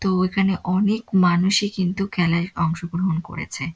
তো এখানে অনেক মানুষে এই কিন্তু খেলায় অংশগ্রহন করেছে।